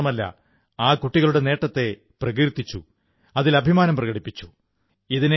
ഇത്രമാത്രമല്ല ആ കുട്ടികളുടെ നേട്ടത്തെ പ്രകീർത്തിച്ചു അതിൽ അഭിമാനം പ്രകടിപ്പിച്ചു